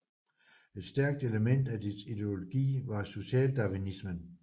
Et stærkt element af dets ideologi var socialdarwinisme